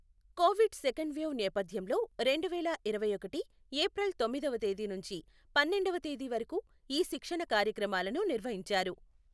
Covid second wave నేపథ్యంలో రెండువేల ఇరవైఒకటి ఏప్రిల్ తొమ్మిదవ తేదీ నుంచి పన్నెండవ తేదీ వరకు ఈ శిక్షణ కార్యక్రమాలను నిర్వహించారు.